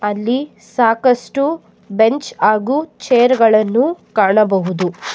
ಅಲ್ಲಿ ಸಾಕಷ್ಟು ಬೆಂಚ್ ಆಗು ಚೇರ್ ಗಳನ್ನು ಕಾಣಬಹುದು.